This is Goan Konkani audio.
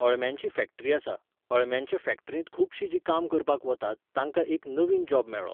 अळम्यांची फॅक्टरी आसा, अळम्यांच्या फॅक्टरींत खुबशीं जीं काम करपाक वतात, तांकां एक नवीन जॉब मेळ्ळो